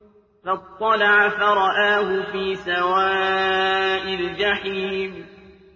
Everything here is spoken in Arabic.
فَاطَّلَعَ فَرَآهُ فِي سَوَاءِ الْجَحِيمِ